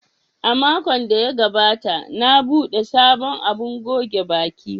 A makon da ya gabata, na buɗe sabon abun goge baki.